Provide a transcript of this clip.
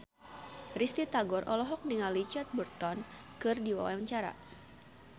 Risty Tagor olohok ningali Richard Burton keur diwawancara